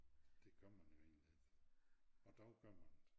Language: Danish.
Det gør man jo egentlig ikke og dog gør man det